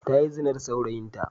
Ta yi zina da saurayinta.